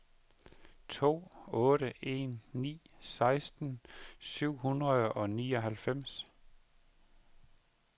to otte en ni seksten syv hundrede og nioghalvfems